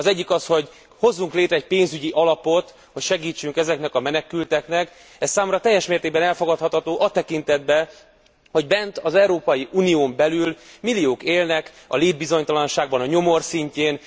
Az, hogy hozzunk létre egy pénzügyi alapot, hogy segítsünk ezeknek a menekülteknek, ez számomra teljes mértékben elfogadható a tekintetben, hogy az Európai Unión belül milliók élnek a létbizonytalanságban a nyomor szintjén.